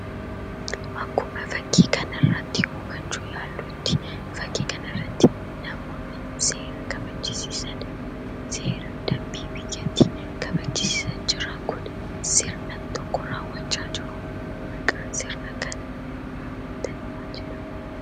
Akkuma fakkii kanarratti hubachuuf yaallutti fakkii kanarratti namoonni seera kabachisiisan seera dambii biyyattii kabachisiisaa jira. Kun sirna tokko raawwachaa jiru maqaan sirna kanaa raawwatan maal jedhama?